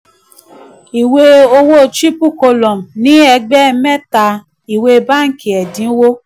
ìwé owó owó triple column ní ẹgbẹ́ mẹ́ta: ìwé bánkì ẹ̀dínwó.